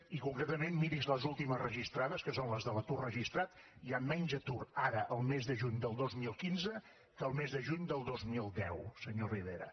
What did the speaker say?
i concretament miri’s les últimes registrades que són les de l’atur registrat hi ha menys atur ara el mes de juny del dos mil quinze que el mes de juny del dos mil deu senyor rivera